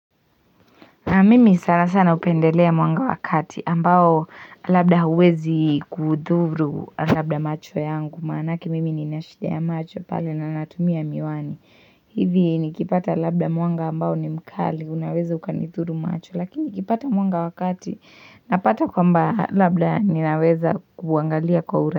Aah mimi sana sana hupendelea mwanga wa kati ambao labda hauwezi kudhuru labda macho yangu maanake mimi nina shida ya macho pale na natumia miwani hivi nikipata labda mwanga ambao ni mkali unaweza ukanithuru macho lakini nikipata mwanga wa kati napata kwamba labda ninaweza kuangalia kwa urahisi.